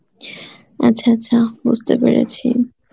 আচ্ছা আচ্ছা বুঝতে পেরেছি